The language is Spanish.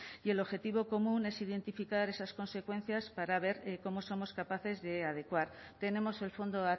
y el objetivo común es identificar esas consecuencias para ver cómo somos capaces de adecuar tenemos el fondo